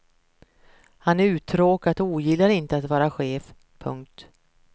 Han är uttråkad och ogillar att inte vara chef. punkt